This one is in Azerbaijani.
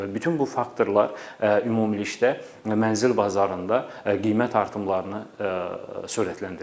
Və bütün bu faktorlar ümumilikdə mənzil bazarında qiymət artımlarını sürətləndirir.